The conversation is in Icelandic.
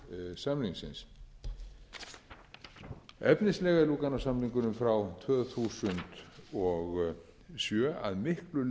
efnislega er lúganósamningurinn frá tvö þúsund og sjö að miklu leyti í samræmi við